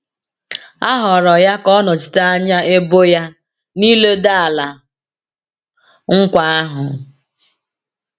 A họọrọ ya ka ọ nọchite anya ebo ya n’ịledo Ala Nkwa ahụ.